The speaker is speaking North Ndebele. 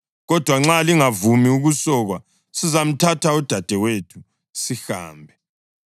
Kodwa nxa lingavumi ukusokwa sizamthatha udadewethu sihambe.”